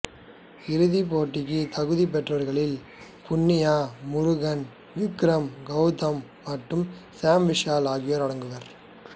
இறுதிப் போட்டிக்கு தகுதி பெற்றவர்களில் புன்யா முருகன் விக்ரம் கௌதம் மற்றும் சாம் விஷால் ஆகியோர் அடங்குவர்